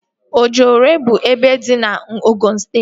Ojụore bụ ebe dị na Ogụn steeti